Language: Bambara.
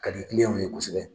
Ka di diɲɛ minɛ kosɛbɛ